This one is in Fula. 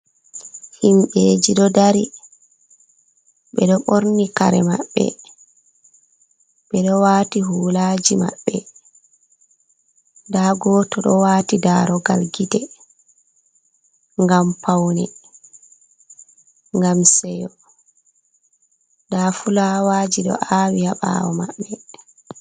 Himbeji ɗo dari, ɓedo borni kare maɓɓe ɓeɗo wati hulaji maɓɓe, da goto ɗo wati darogal gite gam paune, gam seyo, da fulawaji do awi habawo maɓɓe.